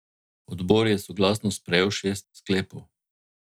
Odbor je soglasno sprejel šest sklepov.